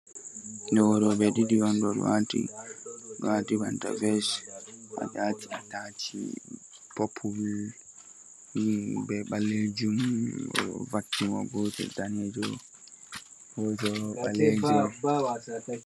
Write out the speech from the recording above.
Ɗo rooɓe ɗiɗi on, ɗo waati banta ves, ɓe waati atach Popul bee ɓaleejum. o ɗo vakki mo, go'oto daneejo go'oto Ɓaleejo.